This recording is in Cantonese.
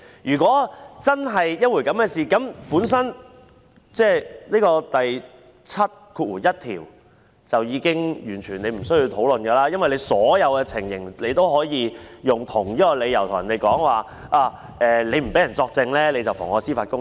如果真是這樣，便已經完全無須討論《立法會條例》第71條，因為在所有情況下也可以提出同一理由，說不讓人作證便是妨礙司法公正。